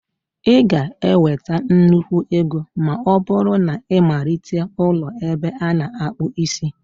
Ị ga-enweta nnukwu ego ma ọ bụrụ na ịmalite ụlọ ebe ana-akpu isi